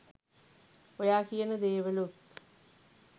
ඔයා කියන දේවලුත්